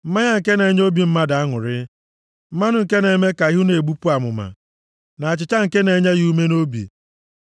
mmanya nke na-enye obi mmadụ aṅụrị, mmanụ nke na-eme ka ihu na-egbupụ amụma, na achịcha nke na-enye ya ume nʼobi.